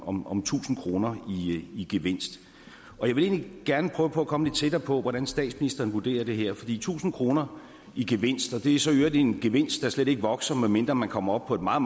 om om tusind kroner i gevinst og jeg vil egentlig gerne prøve på at komme lidt tættere på hvordan statsministeren vurderer det her fordi tusind kroner i gevinst og det er så i øvrigt en gevinst der slet ikke vokser medmindre man kommer op på et meget